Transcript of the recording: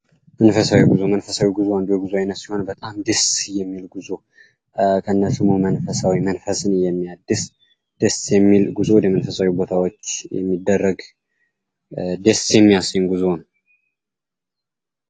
መንፈሳዊ ጉዞ አንዱ የጉዞ አይነት ሲሆኖን በጣም ደስ የሚል ጉዞ ከነስሙ መንፈሳዊ መንፈስን የሚያድስ ደስ የሚል ጉዞ ወደ መንፈሳዊ ቦታወች ደስ የሚያሰኝ ጉዞ ነው።